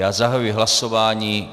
Já zahajuji hlasování.